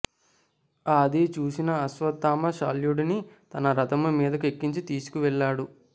ఆది చూసిన ఆశ్వత్థామ శల్యుడిని తన రథము మీదకు ఎక్కించి తీసుకు వెళ్ళాడు